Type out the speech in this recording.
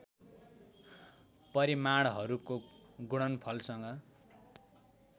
परिमाणहरूको गुणनफलसँग